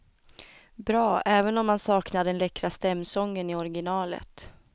Bra, även om man saknar den läckra stämsången i originalet.